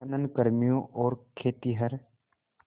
खनन कर्मियों और खेतिहर